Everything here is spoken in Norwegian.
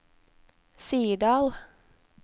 Sirdal